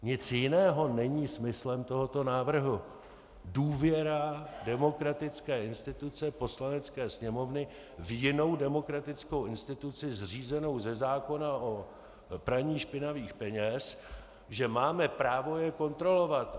Nic jiného není smyslem tohoto návrhu - důvěra demokratické instituce Poslanecké sněmovny v jinou demokratickou instituci zřízenou ze zákona o praní špinavých peněz, že máme právo je kontrolovat.